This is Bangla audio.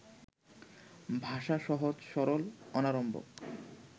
ভাষা সহজ, সরল, অনাড়ম্বর